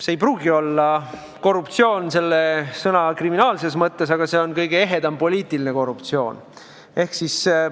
See ei pruugi olla korruptsioon selle sõna kriminaalses tähenduses, aga see on kõige ehedam poliitiline korruptsioon.